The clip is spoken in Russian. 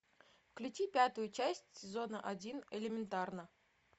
включи пятую часть сезона один элементарно